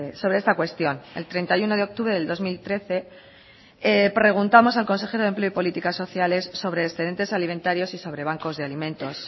sobre esta cuestión el treinta y uno de octubre del dos mil trece preguntamos al consejero de empleo y políticas sociales sobre excedentes alimentarios y sobre bancos de alimentos